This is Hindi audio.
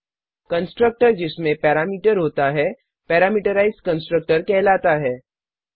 कंस्ट्रक्टर जिसमें पैरामीटर होता पैरामीटराइज्ड कंस्ट्रक्टर कहलाता है